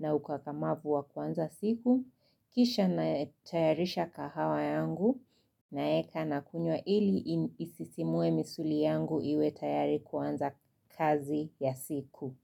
na ukakamavu wa kuanza siku. Kisha natayarisha kahawa yangu, naeka na kunywa ili isisimue misuli yangu iwe tayari kuanza kazi ya siku.